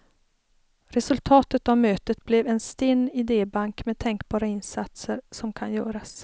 Resultatet av mötet blev en stinn idébank med tänkbara insatser som kan göras.